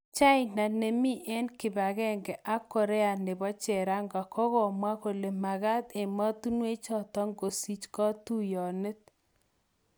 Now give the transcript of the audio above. China nemii eng' kibagenge ak Korea nepo cherongo kogamwa kole magat enemotinwek chotok kosiich kutyonet